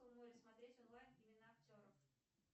смотреть онлайн имена актеров